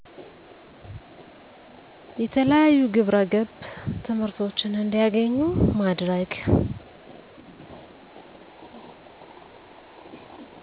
የተለያዩ ግብረገብ ትምህርቶችን እንዲያገኙ ማድረግ